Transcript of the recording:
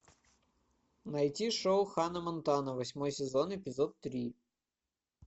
найти шоу ханна монтана восьмой сезон эпизод три